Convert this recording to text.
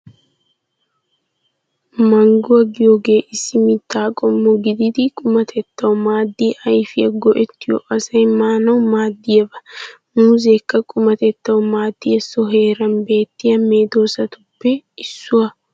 Mangguwaa giyoogee issi mitta qommo gididi qumatetawu maadiyaa ayfiyaa go"ettiyoo asay maanawu maadiyaaba. Muuzeekka qumatetawu maadiyaa so heeran beettiyaa meedoosatuppe issuwaa.